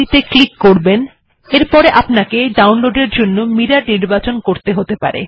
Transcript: এটিকে ক্লিক করুন ডাউনলোড করার জন্য আপনাকে মিরর নির্বাচন করতে হতে পারে